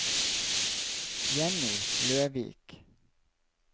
Jenny Løvik